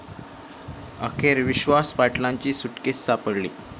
अखेर विश्वास पाटलांची सुटकेस सापडली